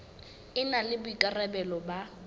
e na le boikarabelo ba